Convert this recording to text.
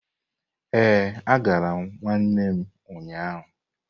Ee, agara m nwanne m ụnyahụ.